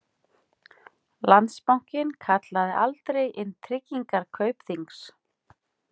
Landsbankinn kallaði aldrei inn tryggingar Kaupþings